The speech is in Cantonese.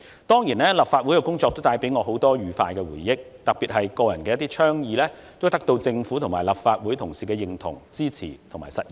當然，立法會的工作也帶給我許多愉快的回憶，特別是我個人的一些倡議得到政府和立法會同事的認同、支持和實現。